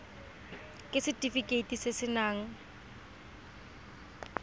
ke setefikeiti se se nayang